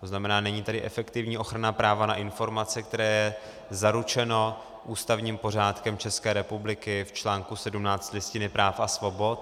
To znamená, není tady efektivní ochrana práva na informace, které je zaručeno ústavním pořádkem České republiky v článku 17 Listiny práv a svobod.